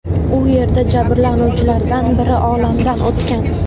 U yerda jabrlanuvchilardan biri olamdan o‘tgan.